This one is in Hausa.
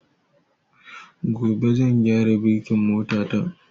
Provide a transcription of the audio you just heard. Gobe zan gyara birkin mota ta